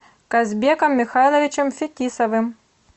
казбеком михайловичем фетисовым